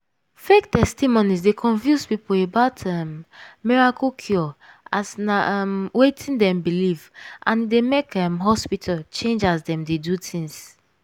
fake testimonies deu confuse people about um miracle cure as na um wetin dem believe and e dey make um hospital change as dem dey do things.